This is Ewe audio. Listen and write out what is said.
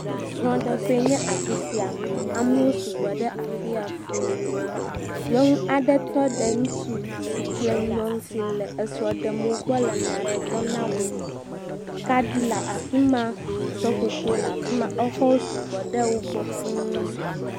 Srɔ̃ɖeƒee nye afi sia amewo sugbɔ ɖe afi ya fũu, nyɔnu aɖe tɔ ɖe ŋutsu si kple nyɔnu si le srɔ̃ ɖem mo gbɔ le nya aɖe gblɔm na wo, kaɖi le afi ma, seƒoƒo le afi ma, exɔwo su gbɔ ɖe wo gbɔ fũu.